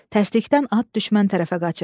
Təsdikdən at düşmən tərəfə qaçıb.